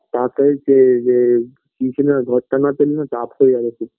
টাকই চেয়ে যাই tuition -ই ঘরটা না পেলেনা চাপ হয়ে যাবে খুব